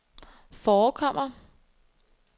forekommer